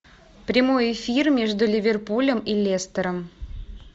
прямой эфир между ливерпулем и лестером